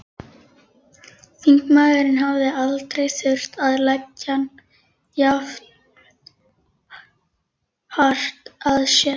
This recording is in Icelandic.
Þingmaðurinn hafði aldrei þurft að leggja jafn hart að sér.